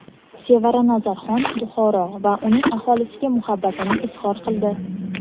Sevara Nazarxon Buxoro va uning aholisiga muhabbatini izhor qildi.